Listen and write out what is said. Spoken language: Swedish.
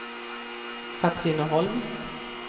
Katrineholm